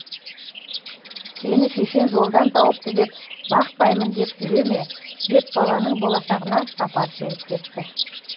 сені шешең жолдан тауыпты деп бақпаймын деп жүре ме деп баланың болашағына сапар шегіп кетті